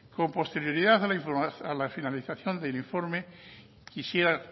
con posterioridad a la finalización del informe quisiera